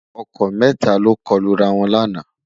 ọkọ mẹta lọkọ Lu rà wọn lànà